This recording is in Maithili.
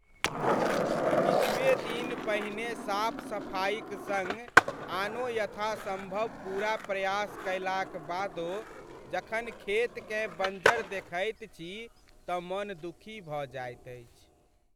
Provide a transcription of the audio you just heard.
किछुए दिन पहिने साफ सफाइक सङ्ग आनो यथासम्भव पूरा प्रयास कयलाक बादो जखन खेतकेँ बंजर देखैत छी तँ मन दुखी भऽ जाइत अछि।